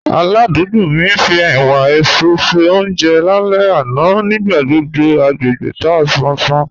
Álàdùúgbò mi ń fí ẹ̀wà èéṣú ṣe ọúnjẹ láàlẹ́ àná, níbẹ̀ gbogbo agbegbé tà sán sán.